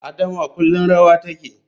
Adama kullum rawa take.